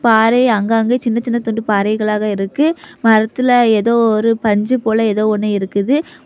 பாறை அங்கங்க சின்ன சின்ன துண்டு பாறைகளாக இருக்கு. மரத்துல ஏதோ ஒரு பஞ்சு போல ஏதோ ஒன்னு இருக்குது.